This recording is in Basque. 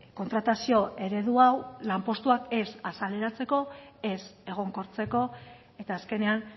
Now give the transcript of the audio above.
kontratazio eredu hau lanpostuak ez azaleratzeko ez egonkortzeko eta azkenean